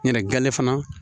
Ɲɛnɛ ganle fana